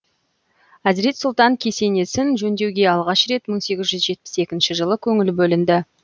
әзірет сұлтан кесенесін жөндеуге алғаш рет мың сегіз жүз жетпіс екінші жылы көңіл бөлінді